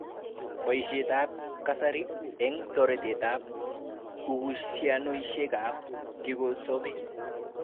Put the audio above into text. Boishetab kasari eng toreteab uhushianoishekab kikosobe